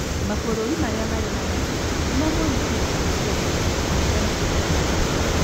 Mabũrũri marĩa marĩ na maria nĩmo monekire kũhutio mũno kũringana na athuthuria